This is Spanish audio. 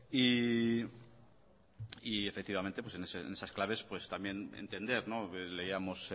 efectivamente en esas claves también entender que leíamos